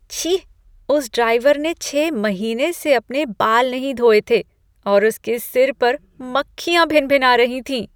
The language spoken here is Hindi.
छी! उस ड्राइवर ने छह महीने से अपने बाल नहीं धोए थे और उसके सिर पर मक्खियाँ भिनभिना रही थीं।